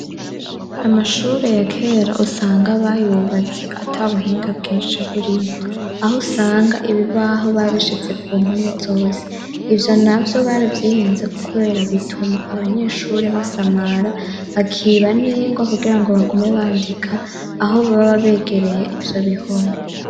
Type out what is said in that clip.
Amashure ya kera usanga bayubatse atabuhinga bwinshi burimo. Aho usanga ibi baho babishize ku mpome zose, ivyo na vyo bara vyihenze ko kubera bituma abanyeshuri basamara, bakiba ningwa kugira ngo bagume bandika aho bababegereye ivyo bihome.